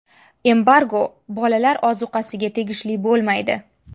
Embargo bolalar ozuqasiga tegishli bo‘lmaydi.